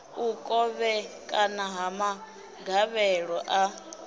u kovhekana ha magavhelo a